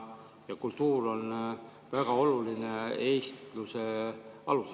Kultuur on väga oluline eestluse alus.